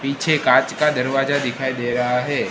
पीछे कांच का दरवाजा दिखाई दे रहा है।